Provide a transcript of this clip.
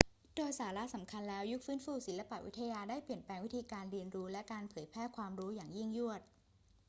โดยสาระสำคัญแล้ว ยุคฟื้นฟูศิลปวิทยาได้เปลี่ยนแปลงวิธีการเรียนรู้และการเผยแพร่ความรู้อย่างยิ่งยวด